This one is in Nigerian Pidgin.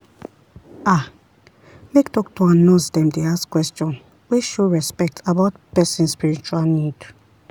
ah make doctor and nurse dem dey ask question wey show respect about person spiritual need.